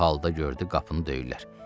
Bu halda gördü qapını döyürlər.